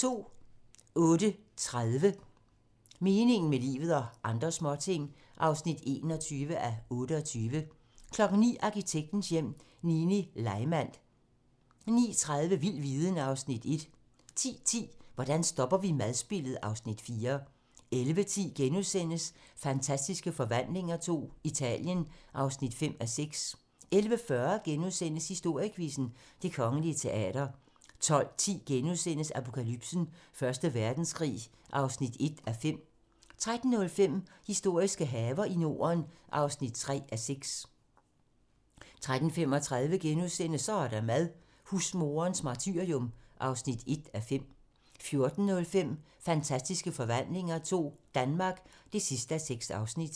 08:30: Meningen med livet - og andre småting (21:28) 09:00: Arkitektens Hjem: Nini Leimand 09:30: Vild viden (Afs. 1) 10:10: Hvordan stopper vi madspildet? (Afs. 4) 11:10: Fantastiske Forvandlinger II - Italien (5:6)* 11:40: Historiequizzen: Det Kongelige Teater * 12:10: Apokalypsen: Første Verdenskrig (1:5)* 13:05: Historiske haver i Norden (3:6) 13:35: Så er der mad - husmoderens martyrium (1:5)* 14:05: Fantastiske Forvandlinger II - Danmark (6:6)